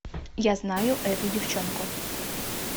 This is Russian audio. я знаю эту девчонку